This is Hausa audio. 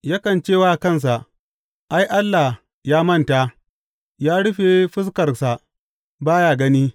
Yakan ce wa kansa, Ai, Allah ya manta; ya rufe fuskarsa ba ya gani.